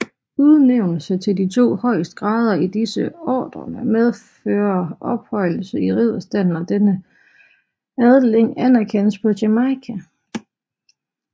Udnævnelse til de to højeste grader i disse ordener medfører ophøjelse i ridderstanden og denne adling anerkendes på Jamaica